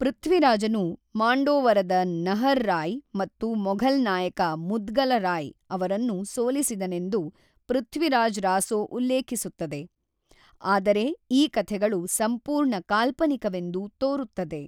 ಪೃಥ್ವಿರಾಜನು ಮಾಂಡೋವರದ ನಹರ್ ರಾಯ್ ಮತ್ತು ಮೊಘಲ್ ನಾಯಕ ಮುದ್ಗಲ ರಾಯ್ ಅವರನ್ನು ಸೋಲಿಸಿದನೆಂದು ಪೃಥ್ವಿರಾಜ್ ರಾಸೊ ಉಲ್ಲೇಖಿಸುತ್ತದೆ, ಆದರೆ ಈ ಕಥೆಗಳು ಸಂಪೂರ್ಣ ಕಾಲ್ಪನಿಕವೆಂದು ತೋರುತ್ತದೆ.